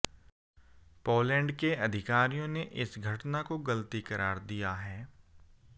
Poland के अधिकारियों ने इस घटना को गलती करार दिया है